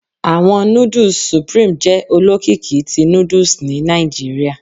Awọn nudus Supreme jẹ olokiki ti nudusni Nigeria